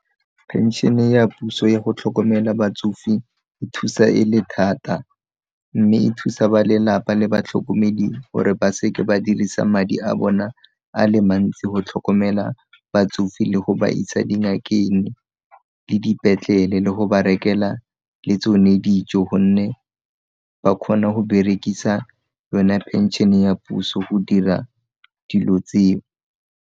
Phenšene ya puso ya go tlhokomela batsofe thusa e le thata, mme e thusa ba lelapa le batlhokomedi gore ba se ke ba dirisa madi a bona a le mantsi go tlhokomela batsofe le go ba isa dingakeng, le dipetlele le go ba rekela le tsone dijo gonne ba kgone go berekisa yona phenšene ya puso go dira dilo tseo.